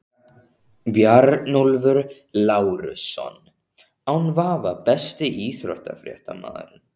Bjarnólfur Lárusson án vafa Besti íþróttafréttamaðurinn?